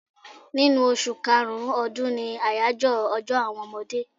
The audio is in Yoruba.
Ninu oṣù karùn-ún ọdún ni àyájọ́ ọjọ́ àwọn ọmọdé.